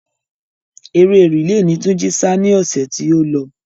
Eré rìle ni Túnjí sá ni ọ̀sẹ̀ tí ó lọ.